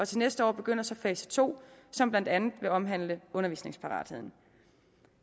til næste år begynder så fase to som blandt andet vil omhandle undervisningsparatheden